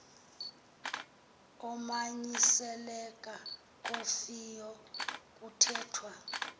umanyiselela kofieyo kuthetnwa